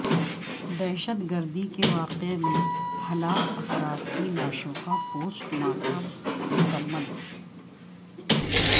دہشت گردی کے واقعے میں ہلاک افراد کی لاشوں کا پوسٹ مارٹم مکمل